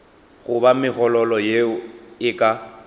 goba megololo yeo e ka